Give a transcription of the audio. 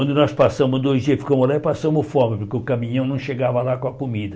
Onde nós passamos dois dias, ficamos lá e passamos fome, porque o caminhão não chegava lá com a comida.